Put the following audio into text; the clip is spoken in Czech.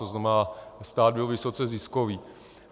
To znamená, stát byl vysoce ziskový.